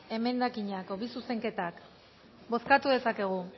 emendakinak edo bi zuzenketak bozkatu dezakegu